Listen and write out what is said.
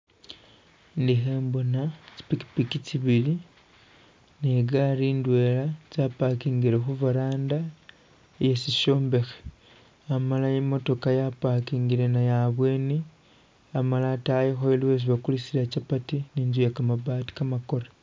Ndi khembona tsi pikipiki tsibili ne igaali indwela ya pakingile khu veranda e shishombekhe, amala imotokha ya pakingile nayo abweni amala itayikho aliwo esi bakulisila chapati ni inzu iye kamabaato kamakore.